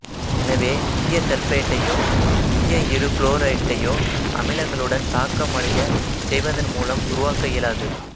எனவே ஈய சல்பேட்டையோ ஈய இருகுளோரைட்டையோ அமிலங்களுடன் தாக்கமடையச் செய்வதன் மூலம் உருவாக்க இயலாது